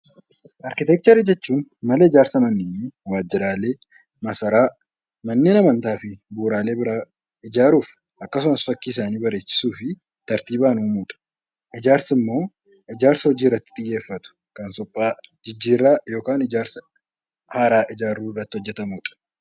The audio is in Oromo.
Arkiteekchera jechuun mala ijaarsa manneenii, waajjiraalee, masaraa, manneen amantaa fi bu'uuraalee biraa ijaaruu akkasumas fakkii isaanii bareechisuu fi tartiibaan uumuudha. Ijaarsi immoo ijaarsa hojii irratti xiyyeeffatu suphaa, jijjiirraa yookiin ijaarsa haaraa ijaaruu irratti hojjetamudha.